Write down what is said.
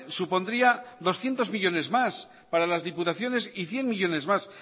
supondría doscientos millónes más para las diputaciones y cien millónes más